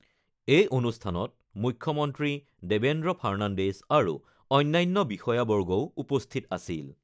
এই অনুষ্ঠানত মুখ্যমন্ত্ৰী দেবেন্দ্ৰ ফাৰ্ণাণ্ডেজ আৰু অন্যান্য বিষয়াবৰ্গও উপস্থিত আছিল।